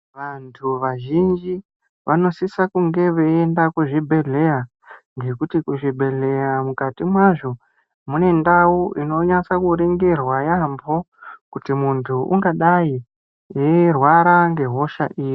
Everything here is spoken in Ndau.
Vantu vazhinji vanosisa kunge veienda kuzvibhedhleya ngekuti kuzvibhedleya mukati mwazvo mune ndau inonasa kuringirwa yaambo kuti munhu ungadai eirwara ngehosha iri.